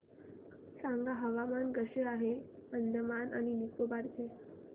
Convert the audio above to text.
सांगा हवामान कसे आहे आज अंदमान आणि निकोबार चे